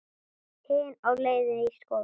Hin á leið í skóla.